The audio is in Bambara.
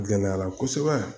Gɛlɛyala kosɛbɛ